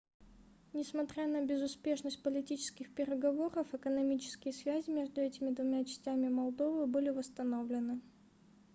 несмотря на безуспешность политических переговоров экономические связи между этими двумя частями молдовы были восстановлены